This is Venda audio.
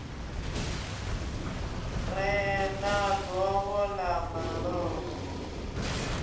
re na govho ḽa malofha